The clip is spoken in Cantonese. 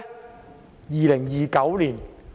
是在2029年。